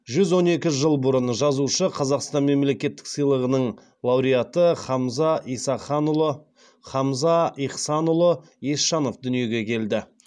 жүз он екі жыл бұрын жазушы қазақстан мемлекеттік сыйлығының лауреаты хамза ихсанұлы есенжанов дүниеге келді